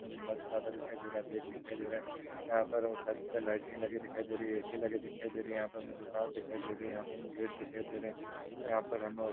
Mobile चलता हुआ दिखाई दे रहा है। बैग दिखाई दे रहा है। यहाँ पर वो छत पर लाइटरिंग लगी दिखाई दे रही है। ऐसी लगी दिखाई दे रही। यहाँ पे दुकान दिखाई दे रही है। यहाँ पर गेट दिखाई दे रहे है यहाँ पर हमें --